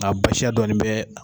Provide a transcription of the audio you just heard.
Nka baasiya dɔɔni bɛ.